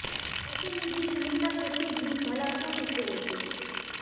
ऐसे में शमिता शेट्टी भी भला क्यों पिछे रहती